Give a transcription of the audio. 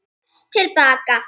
Horft til baka